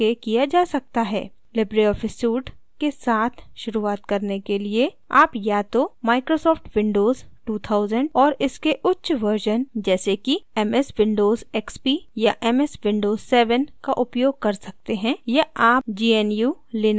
Libre office suite के साथ शुरुआत करने के लिए आप या तो microsoft windows 2000 और इसके उच्च वर्ज़न जैसे कि ms windows xp या ms windows 7 का उपयोग कर सकते हैं या आप gnu/linux operating system का उपयोग कर सकते हैं